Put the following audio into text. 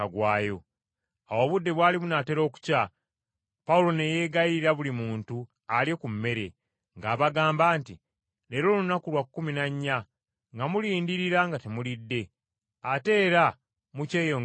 Awo obudde bwali bunaatera okukya, Pawulo ne yeegayirira buli muntu alye ku mmere, ng’abagamba nti, “Leero lunaku lwa kkumi na nnya nga mulindirira nga temulidde, ate era mukyeyongera obutalya.